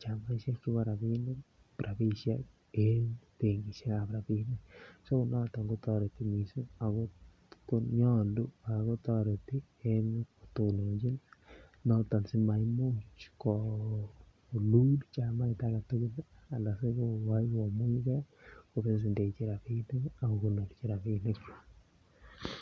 chamaisiek chebo rabinik rabisiek en benkisiek ab rabinik so noton kotoreti mising ago nyolu ak kotoreti ko tononjin noton si maimuch kolul chamait age tugul Anan kogoi kolulge ko ko kindechi rabinik